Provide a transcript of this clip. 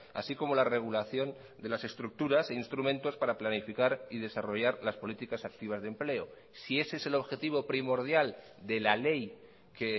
así como la regulación de las estructuras e instrumentos para planificar y desarrollar las políticas activas de empleo si ese es el objetivo primordial de la ley que